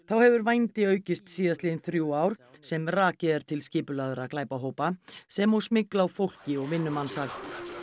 þá hefur vændi aukist síðastliðin þrjú ár sem rakið er til skipulagðra glæpahópa sem og smygl á fólki og vinnumansal